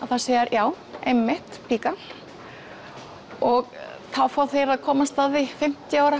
já einmitt píka og þá fá þeir að komast að því fimmtíu ára